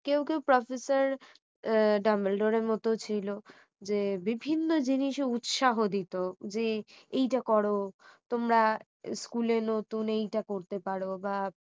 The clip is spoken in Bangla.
কেউ কেউ professor ডাম্বেলডোরের মত ছিল যে বিভিন্ন জিনিসে উৎসাহ দিত যে এইটা করো তোমরা school এ নতুন এইটা করতে পারো বা